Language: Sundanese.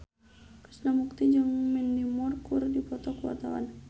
Krishna Mukti jeung Mandy Moore keur dipoto ku wartawan